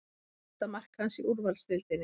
Fyrsta mark hans í úrvalsdeildinni